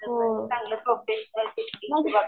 चांगलं प्रोफेशनल